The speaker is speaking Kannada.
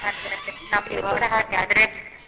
ಅದೆ ಅದೆ ನಮ್ಗೆ ಹಾಗೆ ಆದ್ರೆ.